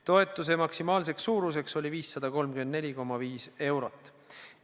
Toetuse maksimaalne suurus oli 534,5 eurot.